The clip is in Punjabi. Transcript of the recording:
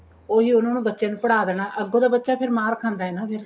ਉਹੀ ਉਹਨਾ ਨੂੰ ਬੱਚੇ ਨੂੰ ਪੜ੍ਹਾ ਦੇਣਾ ਅੱਗੋ ਤਾਂ ਬੱਚਾ ਫੇਰ ਮਾਰ ਖਾਂਦਾ ਏ ਨਾ ਫੇਰ